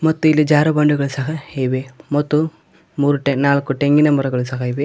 ಮತ್ತು ಇಲ್ಲಿ ಜಾರುಬಂಡಿಗಳ ಸಹ ಇವೆ ಮತ್ತು ಮೂರು ಟೇ ನಾಲ್ಕು ಟೆಂಗಿನ ಮರಗಳು ಸಹ ಇವೆ.